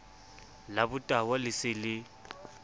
la botahwa le se le